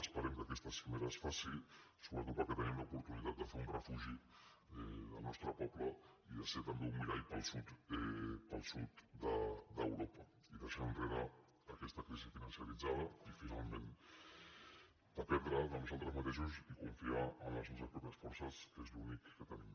esperem que aquesta cimera es faci sobretot perquè tenim l’oportunitat de fer un refugi del nostre poble i de ser també un mirall per al sud d’europa i deixar enrere aquesta crisi financeritzada i finalment dependre de nosaltres mateixos i confiar en les nostres pròpies forces que és l’únic que tenim